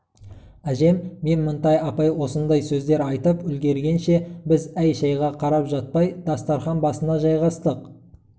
әжем мен мінтай апай осындай сөздер айтып үлгергенше біз әй-шайға қарап жатпай дастарқан басына жайғастық